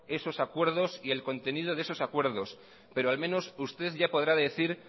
esos acuerdos y el contenido de esos acuerdos pero al menos usted ya podrá decir